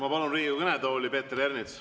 Ma palun Riigikogu kõnetooli Peeter Ernitsa.